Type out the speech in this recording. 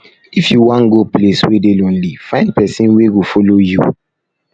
if you wan go place wey dey lonely find pesin wey go follow you